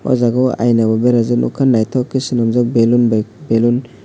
aw jaaga aina bo berajak nukkha nythok ke swnamjak balloon by balloon.